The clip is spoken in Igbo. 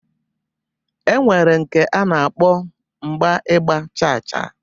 E nwere nke a na-akpọ mgba Ịgba chaa chaa.